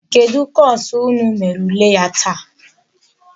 Kedụ kọsụ unu mere ule ya taa?